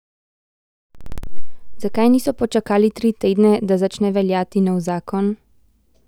Zakaj niso počakali tri tedne, da začne veljati novi zakon?